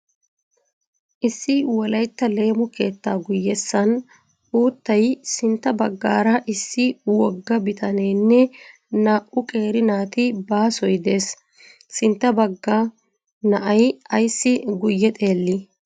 Issi wolaytta leemo keettaa guyessan uuttay, sintta baggaara, issi wogga bitaneenne, naa"u qeerri naati, baassoy dees. sintta bagga na"ay ayssi guye xeellii?